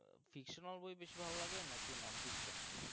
fictional বই বেশি ভালো লাগে নাকি non-fiction